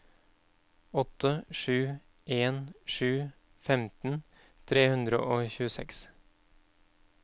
åtte sju en sju femten tre hundre og tjueseks